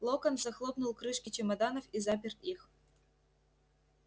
локонс захлопнул крышки чемоданов и запер их